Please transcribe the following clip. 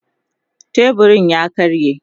teburun ya karye